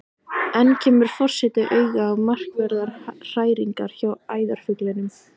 Enn kemur forseti auga á markverðar hræringar hjá æðarfuglinum.